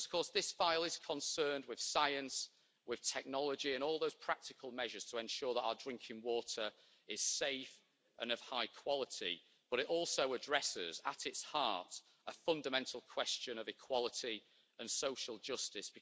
This file is concerned with science, with technology and all those practical measures to ensure that our drinking water is safe and of high quality, but it also addresses, at its heart, a fundamental question of equality and social justice.